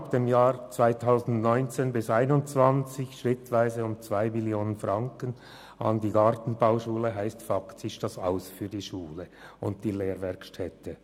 Die schrittweise Streichung von rund 2 Mio. Franken zwischen 2019–2021 bedeutet faktisch das Aus für Schule und Lehrwerkstätte.